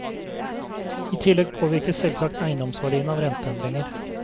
I tillegg påvirkes selvsagt eiendomsverdiene av renteendringer.